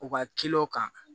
U ka kan